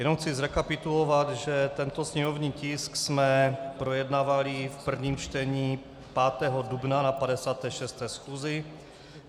Jenom chci zrekapitulovat, že tento sněmovní tisk jsme projednávali v prvním čtení 5. dubna na 56. schůzi.